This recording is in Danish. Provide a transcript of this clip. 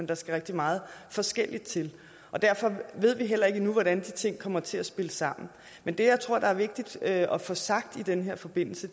der skal rigtig meget forskelligt til og derfor ved vi heller ikke endnu hvordan de ting kommer til at spille sammen men det jeg tror er vigtigt at få sagt i den her forbindelse